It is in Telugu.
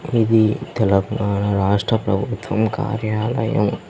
ఇది తెలంగాణ రాష్ట్ర ప్రభుత్వం కార్యాలయం.